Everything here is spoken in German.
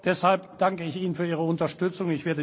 Deshalb danke ich Ihnen für Ihre Unterstützung.